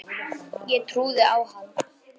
Ég trúði á hann.